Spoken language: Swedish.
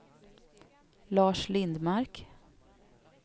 Lars Lindmark